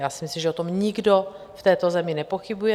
Já si myslím, že o tom nikdo v této zemi nepochybuje.